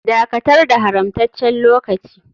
Dakatar da haramtaccen lokaci.